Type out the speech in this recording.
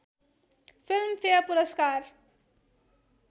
film fair पुरस्कार